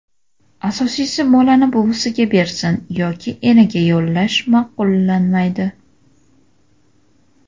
Asosiysi, bolani buvisiga berish yoki enaga yollash ma’qullanmaydi.